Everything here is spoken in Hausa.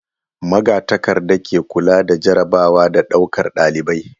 Magatakarda ke kula da jarrabawa da ɗaukar ɗalibai.